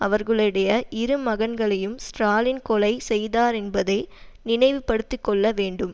அவர்களுடைய இரு மகன்களையும் ஸ்ராலின் கொலை செய்தாரென்பதை நினைவு படுத்திக்கொள்ள வேண்டும்